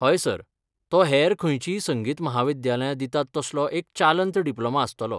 हय सर, तो हेर खंयचींय संगीत विद्यालयां दितात तसलो एक चालंत डिप्लोमा आस्तलो.